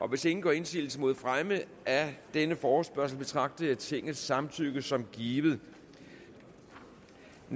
hvis ingen gør indsigelse mod fremme af denne forespørgsel betragter jeg tingets samtykke som givet